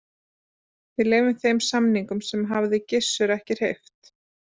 Við þeim samningum hafði Gizur ekki hreyft.